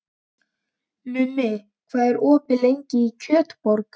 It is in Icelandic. Mummi, hvað er opið lengi í Kjötborg?